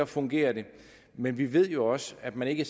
fungerer det men vi ved jo også at man ikke